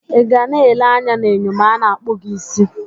Ị ga na-ele anya na enyo ma a na-akpụ gị isi?